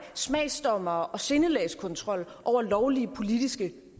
smagsdommere og udføre sindelagskontrol over lovlige politiske